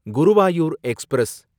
Guruvayur express